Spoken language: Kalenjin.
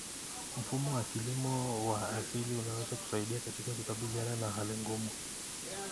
Mfumo wa kilimo wa asili unaweza kusaidia katika kukabiliana na hali ngumu.